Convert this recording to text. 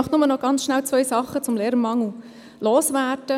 Ich möchte zwei Dinge zum Lehrermangel loswerden.